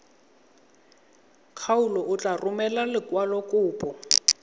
kgaolo o tla romela lekwalokopo